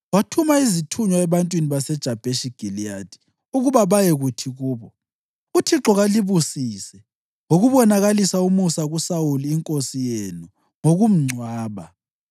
wathuma izithunywa ebantwini baseJabheshi Giliyadi ukuba bayekuthi kubo, “ UThixo kalibusise ngokubonakalisa umusa lo kuSawuli inkosi yenu ngokumgcwaba.